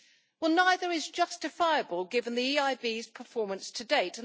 Well, neither is justifiable given the EIB's performance to date.